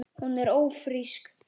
Hún er ÓFRÍSK!